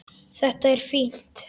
Þetta er fínt.